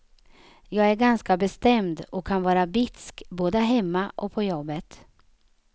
Jag är ganska bestämd och kan vara bitsk, både hemma och på jobbet.